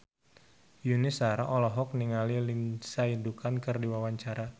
Yuni Shara olohok ningali Lindsay Ducan keur diwawancara